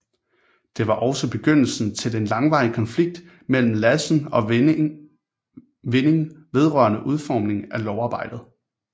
Det var også begyndelsen til en langvarig konflikt mellem Lassen og Vinding vedrørende udformningen af lovarbejdet